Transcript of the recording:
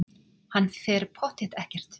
Hann fer pottþétt ekkert.